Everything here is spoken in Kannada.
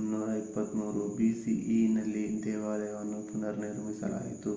323 bceನಲ್ಲಿ ದೇವಾಲಯವನ್ನು ಪುನರ್ನಿರ್ಮಿಸಲಾಯಿತು